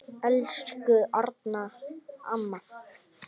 Elsku Erna amma.